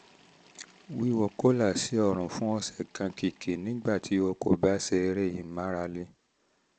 wíwọ kólà sí ọrùn fún ọ̀sẹ̀ kan (kìkì nígbà tí o kò bá ṣe eré ìmárale)